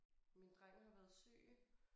Min dreng har været syg